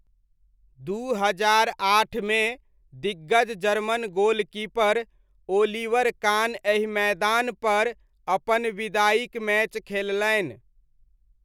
दू हजार आठमे दिग्गज जर्मन गोलकीपर ओलिवर कान एहि मैदानपर अपन विदाइक मैच खेललनि।